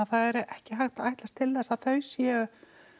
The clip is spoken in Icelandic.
það er ekki hægt að ætlast til að þau séu